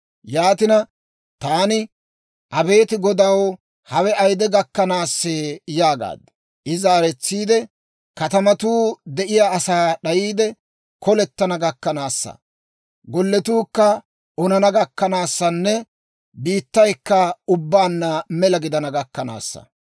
Yaatina, taani, «Abeet Godaw! Hawe ayide gakkanaasee?» yaagaad. I zaaretsiide, «Katamatuu de'iyaa asaa d'ayiide, kolettana gakkanaasa, golletuukka onana gakkanawunne biittaykka ubbaanna mela gidana gakkanaasa.